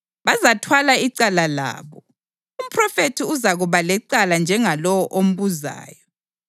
Bazathwala icala labo, umphrofethi uzakuba lecala njengalowo ombuzayo.